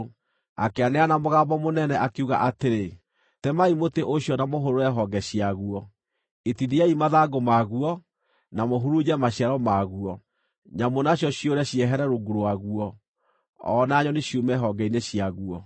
Akĩanĩrĩra na mũgambo mũnene, akiuga atĩrĩ: Temai mũtĩ ũcio na mũhũrũre honge ciaguo; itithiai mathangũ maguo, na mũhurunje maciaro maguo. Nyamũ nacio ciũre ciehere rungu waguo, o na nyoni ciume honge-inĩ ciaguo.